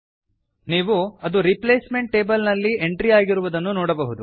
ನೀವು ಅದು replacement table ನಲ್ಲಿ ಎಂಟ್ರಿಯಾಗಿರುವುದನ್ನು ನೋಡಬಹುದು